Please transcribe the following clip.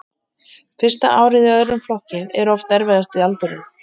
Fyrsta árið í öðrum flokki er oft erfiðasti aldurinn.